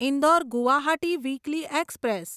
Indore Guwahati weekly express